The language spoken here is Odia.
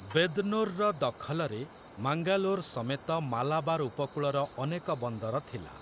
ବେଦ୍‌ନୋର୍‌ର ଦଖଲରେ ମାଙ୍ଗାଲୋର୍ ସମେତ ମାଲାବାର୍ ଉପକୂଳର ଅନେକ ବନ୍ଦର ଥିଲା ।